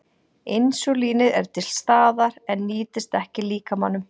Insúlínið er til staðar en nýtist ekki líkamanum.